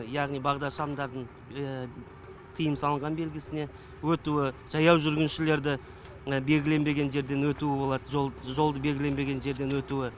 яғни бағдаршамдардың тыйым салынған белгісіне өтуі жаяу жүргіншілерді белгіленбеген жерден өтуі болады жолды белгіленбеген жерден өтуі